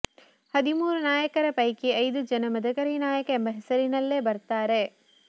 ಹದಿಮೂರು ನಾಯಕರ ಪೈಕಿ ಐದು ಜನ ಮದಕರಿ ನಾಯಕ ಎಂಬ ಹೆಸರಿನಲ್ಲೇ ಬರ್ತಾರೆ